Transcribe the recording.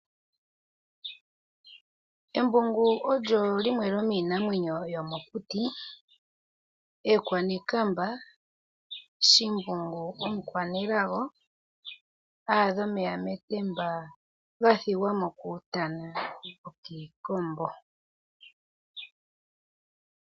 Embungu olyo limwe lyomiinamwenyo yomokuti ekwanekamba, shimbungu omukwanelago aadha omeya metemba gathigwamo kuutana nokiikombo.